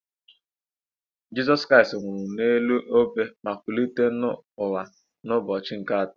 Jisọs Kraịst nwụrụ n'elu obe ma kulite n'ọnwụ n'ụbọchị nke atọ.